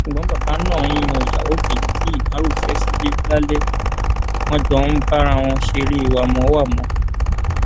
ṣùgbọn bàbá náà ń yan ìyàwó kejì tí ìmárù fẹ sílẹ lálẹ wọn jọ ń bá ara wọn ṣeré wámọwàmọ